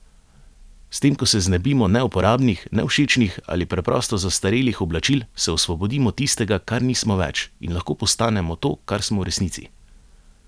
S tem ko se znebimo neuporabnih, nevšečnih ali preprosto zastarelih oblačil, se osvobodimo tistega, kar nismo več, in lahko postanemo to, kar smo v resnici.